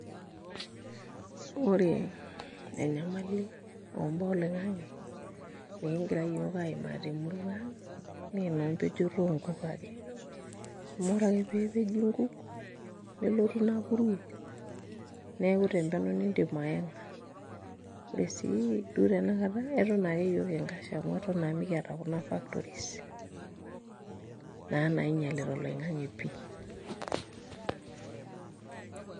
Ore enyamali ombaa olong'ng'e nikingira iyiook aimaa naa enoompejoto onkuk ake amu ore pee epeji nkuk nelotu ina puruo neeku tempenyo niindim ayang'a ore sii duo tanakata eton iyiook kingash amu eton naa mikiata iyiook nena factories naa nainyialita oloing'ang'e pii.